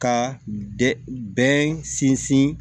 Ka bɛn sinsin